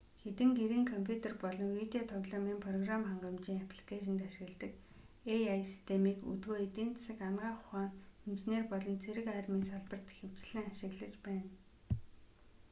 хэдэн гэрийн компьютер болон видео тоглоомын програм хангамжийн апликэйшинд ашигладаг ai системийг өдгөө эдийн засаг анагаах ухаан инженер болон цэрэг армийн салбарт ихэвчлэн ашиглаж байна